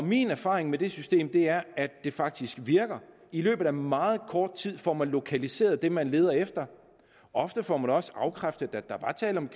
min erfaring med det system er at det faktisk virker i løbet af meget kort tid får man lokaliseret det man leder efter ofte får man også afkræftet at der var tale om